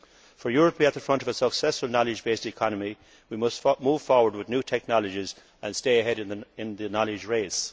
For Europe to be at the forefront of a successful knowledge based economy, we must move forward with new technologies and stay ahead in the knowledge race.